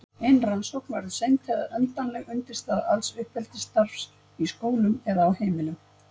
Ein rannsókn verður seint endanleg undirstaða alls uppeldisstarfs í skólum eða á heimilum.